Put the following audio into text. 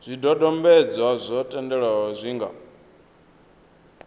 zwidodombedzwa zwa thendelo zwi nga